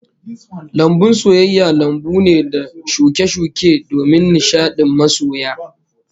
Lambun soyayya lambu ne da shuke-shuke domin nishadin masoya